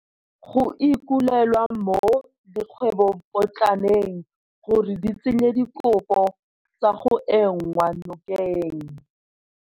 Go ikuelwa mo dikgwebopotlaneng gore di tsenye dikopo tsa go enngwa nokeng.